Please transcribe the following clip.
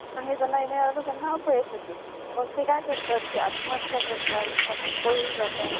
तेव्हा एकोणीसऎंशी मध्ये आणि ओस बोर्न आह एक अल्पावधीतच लोकप्रिय ठरला आणि त्याने लोकांच्या बरोबरच संगणक निर्मिती करत असलेल्या कंपन्यांनीही लक्ष वेधून घेतले